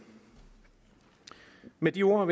med de ord